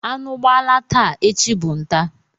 Anụ gbala taa, echi bụ nta.